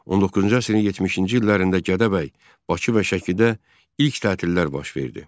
19-cu əsrin 70-ci illərində Gədəbəy, Bakı və Şəkidə ilk tətillər baş verdi.